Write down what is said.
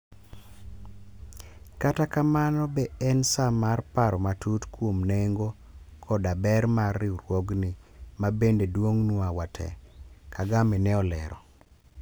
kata kamano be en saa mar paro matut kuom nengo koda ber mar riwruogni ma bende duong'nwa wate. Kagame ne olero